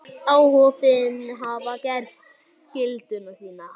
Áhöfnin hafði gert skyldu sína.